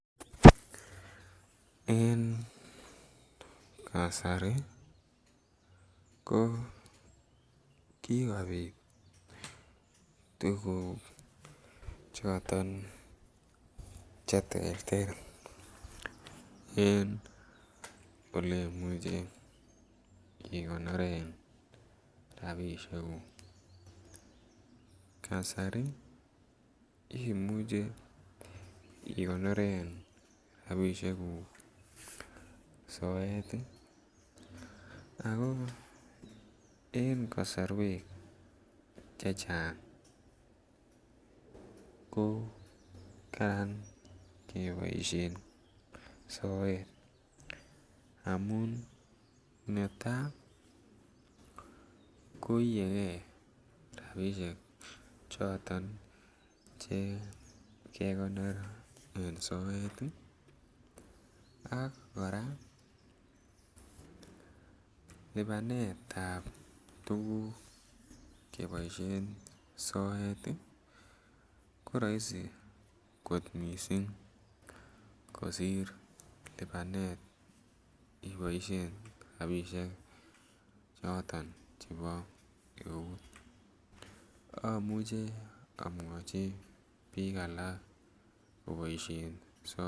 En kasari ko kikopit tuguk choton che terter en ole imuche igonoren rabishek ngung kasari imuche igonoren rabishek ngung soet ii ako en kosorwek chechang ko Karan keboishen soet amun netaa ko iyegee rabishek choton che kegonor en soet ii ak koraa lipanetab tuguk keboishen soet ii ko roisii kot missing kosir lipanetab iboishen rabishek choton chebo eut omuche omwochi biik alak keboishen soet